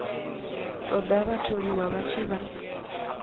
ṱoḓa vhatholiwa vha tshi vha